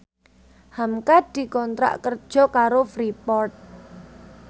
hamka dikontrak kerja karo Freeport